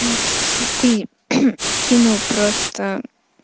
макс если ты кино просто